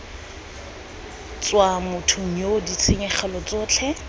tswa mothong yoo ditshenyegelo tsotlhe